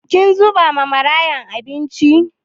Kin zuba ma yara abinci?